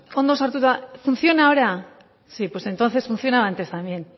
ondo sartuta funciona ahora sí pues entonces funcionaba antes también